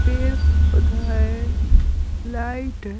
पेड़ पौधा है लाइट है।